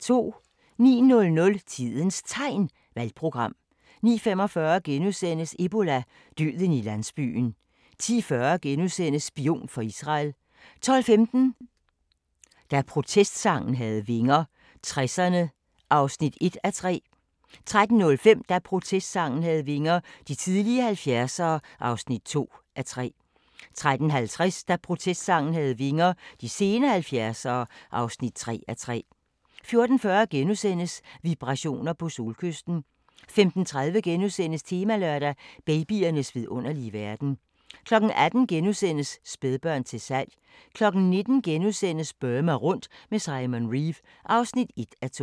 09:00: Tidens Tegn - Valgprogram 09:45: Ebola – døden i landsbyen * 10:40: Spion for Israel * 12:15: Da protestsangen havde vinger - 60'erne (1:3) 13:05: Da protestsangen havde vinger - de tidlige 70'ere (2:3) 13:50: Da protestsangen havde vinger - de sene 70'ere (3:3) 14:40: Vibrationer på Solkysten * 15:30: Temalørdag: Babyernes vidunderlige verden * 18:00: Spædbørn til salg * 19:00: Burma rundt med Simon Reeve (1:2)*